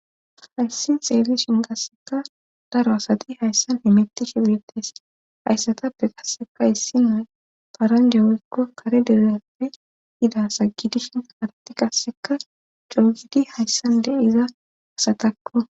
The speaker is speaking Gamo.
Hayssin xeelishin kasseka daro asati hayssanemettishe urettes hayssatappe kasseka hissinu paranje wuikko kare dereyappe ida sagidishin arti kasseka coogidi hayssande iza asatakko.